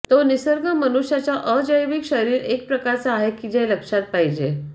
तो निसर्ग मनुष्याच्या अजैविक शरीर एक प्रकारचा आहे की लक्षात पाहिजे